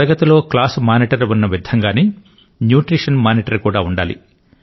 తరగతిలో class monitor ఉన్న విధంగానే న్యుట్రిశన్ మానిటర్ కూడా ఉండాలి